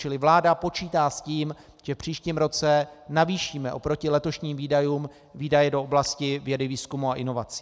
Čili vláda počítá s tím, že v příštím roce navýšíme oproti letošním výdajům výdaje do oblasti vědy, výzkumu a inovací.